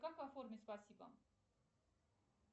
как оформить спасибо